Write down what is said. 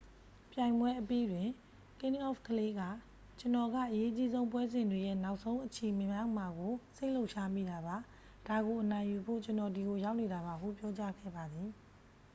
"ပြိုင်ပွဲအပြီးတွင် ကင်းအောဖ်ကလေး က "ကျွန်တော်က အရေးအကြီးဆုံးပွဲစဉ်တွေရဲ့ နောက်ဆုံးအချီမရောက်မှာကို စိတ်လှုပ်ရှားမိတာပါ။ ဒါကိုအနိုင်ယူဖို့ ကျွန်တော်ဒီကိုရောက်နေတာပါ၊" ဟု ပြောကြားခဲ့ပါသည်။